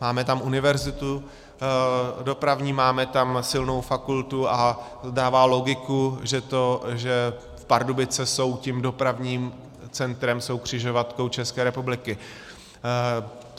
Máme tam Univerzitu dopravní, máme tam silnou fakultu a dává logiku, že Pardubice jsou tím dopravním centrem, jsou křižovatkou České republiky.